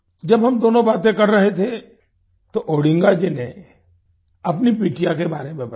जब हम दोनों बातें कर रहे थे तो ओडिंगा जी ने अपनी बिटिया के बारे में बताया